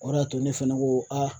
O de y'a to ne fana ko